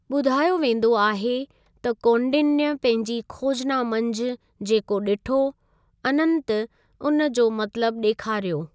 ॿुधायो वेंदो आहे त कौंडिन्य पंहिंजी खोजना मंझि जेको ॾिठो अनंत उन जो मतलबु ॾेखारियो।